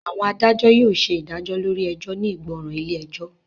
Àwọn adájọ́ yóò ṣe ìdájọ́ lórí ẹjọ́ ní ìgbọràn ilé ẹjọ́